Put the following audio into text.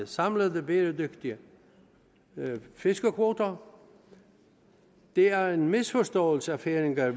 samlede bæredygtige fiskekvoter det er en misforståelse at færinger